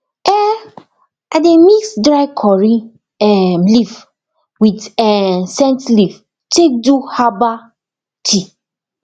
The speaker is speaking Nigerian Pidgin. um i dey mix dry curry um leaf with um scent leaf take do herbal tea